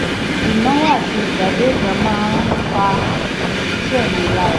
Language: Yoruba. ìnáwó àtìgbàdégbà máa ń pa iṣẹ́ mi lára